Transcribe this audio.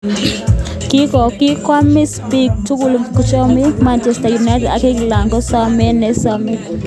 Kikaomis biik chuk, cheboiboichino, Manchester United ak England ko somanet neasomani.